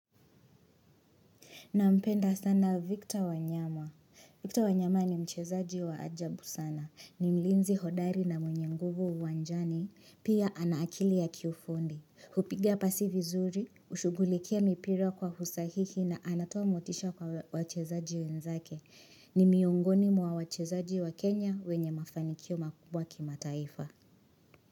Nampenda sana Victor wanyama. Victor wanyama ni mchezaji wa ajabu sana. Ni mlinzi hodari na mwenye nguvu uwanjani. Pia ana akili ya kiufundi. Hupiga pasi vizuri, hushugulikia mipira kwa usahihi na anatoa motisha kwa wachezaji wenzake. Ni miongoni mwa wachezaji wa Kenya wenye mafanikio makubwa kima taifa.